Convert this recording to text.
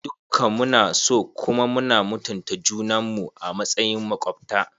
Dukka mu na so kuma muna mutunta junan mu a matsayin makwabta.